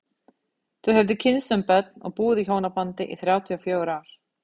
Þau höfðu kynnst sem börn og búið í hjónabandi í þrjátíu og fjögur ár.